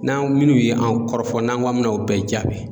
N'an minnu ye an kɔrɔ fɔ n'an k'an bɛna o bɛɛ jaabi.